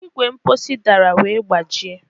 Igwe mposi dara wee gbajie